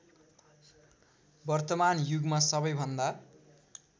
वर्तमान युगमा सबैभन्दा